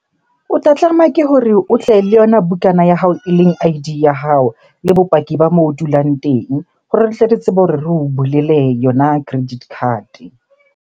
O tla tlameha ke hore o tle le yona bukana ya hao eleng I_D ya hao. Le bopaki ba moo o dulang teng hore re tle re tsebe hore re o bulele yona credit card-e.